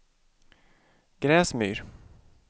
Gräsmyr